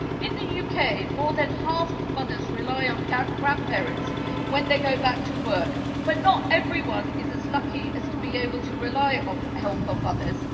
In the UK, more than half of mothers rely on grandparents when they go back to work, but not everyone is lucky enough to be able to rely on the help of others.